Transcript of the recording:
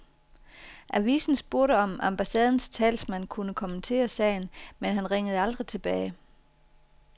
Avisen spurgte om ambassadens talsmand kunne kommentere sagen, men han ringede aldrig tilbage.